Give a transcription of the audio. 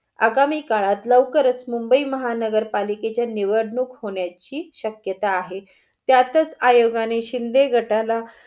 आगामी काळात लवकर च मुबंई महानगर पालिकाच्या निवडणूक होण्याची शक्यता आहे. त्यातच आयोगाने शिंदे गटाला